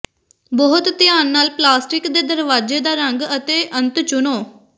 ਬਹੁਤ ਧਿਆਨ ਨਾਲ ਪਲਾਸਟਿਕ ਦੇ ਦਰਵਾਜ਼ੇ ਦਾ ਰੰਗ ਅਤੇ ਅੰਤ ਚੁਣੋ